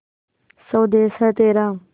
स्वदेस है तेरा